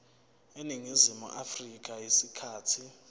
eningizimu afrika isikhathi